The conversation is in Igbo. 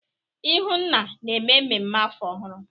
ihunna na-eme mmemme afọ ọhụrụ?